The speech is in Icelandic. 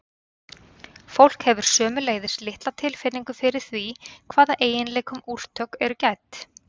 fólk hefur sömuleiðis litla tilfinningu fyrir því hvaða eiginleikum úrtök eru gædd